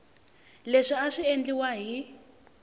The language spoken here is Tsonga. leswi a swi endliwa hi